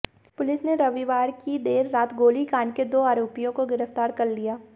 police ने रविवार की देर रात गोलीकांड के दो आरोपियों को गिरफ्तार कर लिया